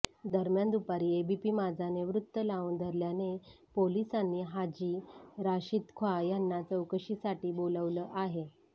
दरम्यान दुपारी एबीपी माझाने वृत्त लावून धरल्याने पोलिसांनी हाजी राशिदखॉं यांना चौकशीसाठी बोलावलं आहे